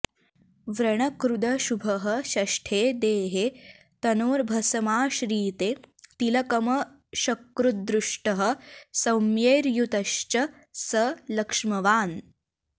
व्रणकृदशुभः षष्ठे देहे तनोर्भसमाश्रिते तिलकमशकृद्दृष्टः सौम्यैर्युतश्च स लक्ष्मवान्